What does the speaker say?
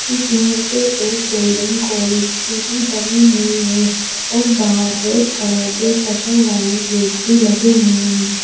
इसमें से एक बिल्डिंग कॉलेज की भी बनी हुई है और बाहर रेड कलर के शटर वाले गेट भी लगे हुए हैं।